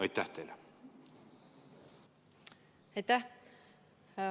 Aitäh!